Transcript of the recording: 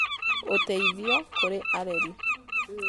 ũteithio kũrĩ areri